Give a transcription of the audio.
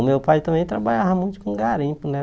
O meu pai também trabalhava muito com garimpo, né?